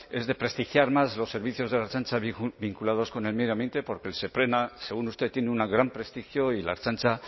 es de prestigiar más los servicios de la ertzaintza vinculados con el medio ambiente porque el seprona según usted tiene un gran prestigio y la ertzaintza